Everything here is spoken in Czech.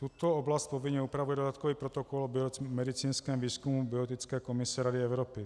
Tuto oblast povinně upravuje dodatkový protokol o medicínském výzkumu biologické komise Rady Evropy.